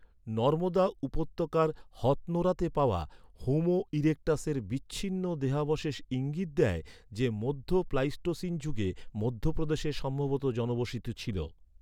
নর্মদা উপত্যকার হথনোরাতে পাওয়া, হোমো ইরেকটাসের বিচ্ছিন্ন দেহাবশেষ ইঙ্গিত দেয় যে, মধ্য প্লাইস্টোসিন যুগে মধ্যপ্রদেশে সম্ভবত জনবসতি ছিল।